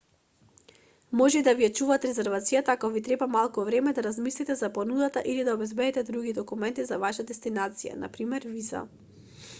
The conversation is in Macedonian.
може и да ви ја чуваат резервацијата ако ви треба малку време да размислите за понудата или да обезбедите други документи за вашата дестинација на пример виза